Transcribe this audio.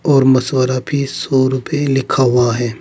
और मशवरा फीस सौ रूपये लिखा हुआ है।